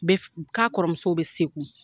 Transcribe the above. Be fu , k'akɔrɔmusow be segu.